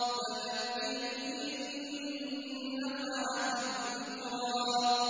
فَذَكِّرْ إِن نَّفَعَتِ الذِّكْرَىٰ